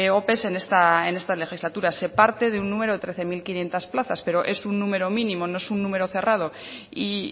ope en esta legislatura se parte de un número de trece mil quinientos plazas pero es un número mínimo no es un número cerrado y